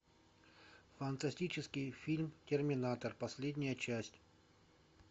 фантастический фильм терминатор последняя часть